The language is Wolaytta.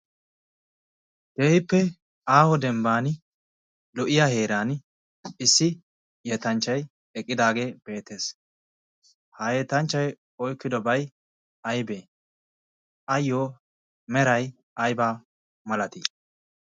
Keehippe aaho dembban lo77iya heeran issi yetanchchai eqqidaagee beetees. ha yetanchchai oikkidobai aibee ayyo merai aibaa malatii?